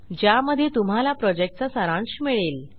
ज्यामध्ये तुम्हाला प्रॉजेक्टचा सारांश मिळेल